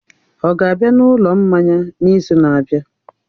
Ọ ga-abịa na ụlọ mmanya n'izu na-abịa?